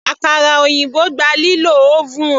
Àkàrà òyìnbó gba lílo oven.